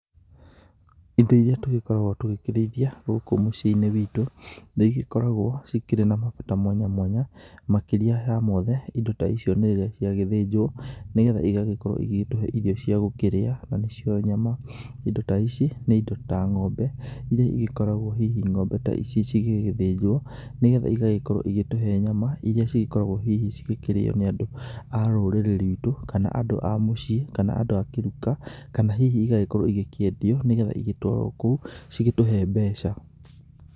Indo iria tugĩkoragwo tũgĩkĩrĩithia gũkũ mũciĩ-inĩ witũ, nĩ igĩkoragwo cikĩrĩ na mabata mwanya mwanya. Makĩria ya mothe indo ta icio nĩ rĩrĩa ciagĩthĩnjwo nĩgetha igagĩkorwo igĩtũhe irio ciagũkĩrĩa na nĩ cio nyama. Indo ta ici nĩ indo ta ng'ombe iria igĩkoragwo hihi ng'ombe ta ici cigĩgĩthĩnjwo. Nĩ getha igagĩkorwo igĩtũhe nyama iria igĩkoragwo hihi cigĩkĩrĩo hihi nĩ andũ a rũrĩrĩ ruitũ kana andũ a mũciĩ kana andũ a kĩruka. Kana hihi igagĩkorwo ikĩendio nĩ getha igĩtwarwo kũu cigĩtũhe mbeca.